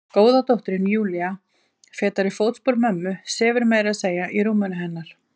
Góða dóttirin Júlía, fetar í fótspor mömmu, sefur meira að segja í rúminu hennar.